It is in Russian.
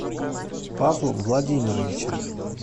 павлом владимировичем